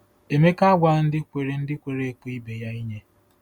Emeka agwaghị ndị kwere ndị kwere ekwe ibe ha inye.